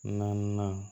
Naaninan